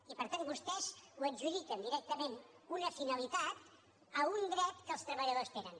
i per tant vostès ho adjudiquen directament una finalitat a un dret que els treballadors tenen